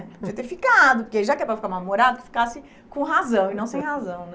Devia ter ficado, porque já que é para ficar mal-humorado, que ficasse com razão e não sem razão, né?